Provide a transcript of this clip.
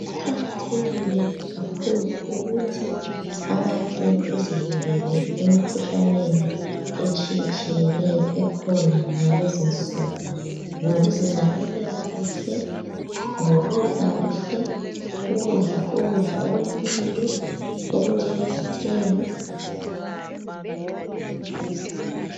Kuqakathekile kakhulu ukuthi abantu bezivikele emkhuhlaneni etshiyetshiyeneyo ekhona ngalezinsuku, ngokuzinakekela kuhle ngokudla kuhle ukudla ukudla okulempilo okunjengezithelo.